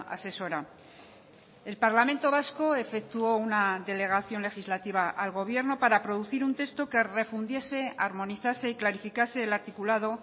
asesora el parlamento vasco efectuó una delegación legislativa al gobierno para producir un texto que refundiese armonizase y clarificase el articulado